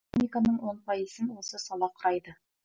экономиканың он пайызын осы сала құрайды